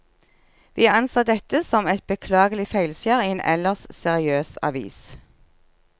Vi anser dette som et beklagelig feilskjær i en ellers seriøs avis.